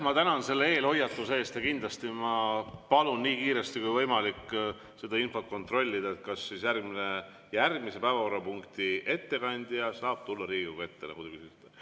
Ma tänan selle eelhoiatuse eest ja kindlasti ma palun nii kiiresti kui võimalik seda infot kontrollida, kas järgmise päevakorrapunkti ettekandja saab tulla Riigikogu ette.